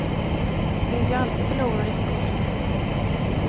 Det finns ju alltid förlorare i konkurserna.